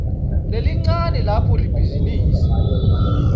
lelincane lapho ibhizinisi